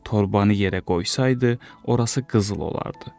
Torbanı yerə qoysaydı, orası qızıl olardı.